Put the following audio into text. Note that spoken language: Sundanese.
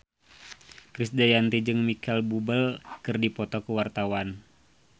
Krisdayanti jeung Micheal Bubble keur dipoto ku wartawan